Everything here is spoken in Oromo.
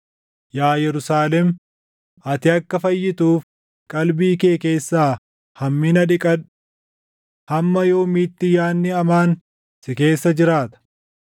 Yaa Yerusaalem, ati akka fayyituuf // qalbii kee keessaa hammina dhiqadhu. Hamma yoomiitti yaadni hamaan si keessa jiraata?